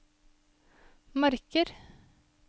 marker